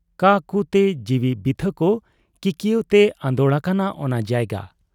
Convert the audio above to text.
ᱠᱟᱻᱠᱩ ᱛᱮ, ᱡᱤᱣᱤ ᱵᱤᱛᱷᱟᱹᱠ ᱠᱤᱠᱭᱟᱹᱣ ᱛᱮ ᱟᱸᱫᱚᱲ ᱟᱠᱟᱱᱟ ᱚᱱᱟ ᱡᱟᱭᱜᱟ ᱾